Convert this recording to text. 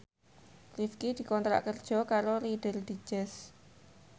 Rifqi dikontrak kerja karo Reader Digest